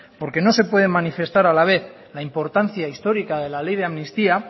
porque no se puede manifestar a la vez la importancia histórica de la ley de amnistía